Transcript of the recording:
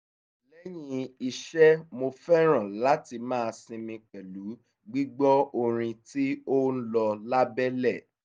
lẹ́yìn iṣẹ́ mo fẹ́ràn láti máa sinmi pẹ̀lú gbígbọ́ orin tí ó ń lọ lábẹ́lẹ̀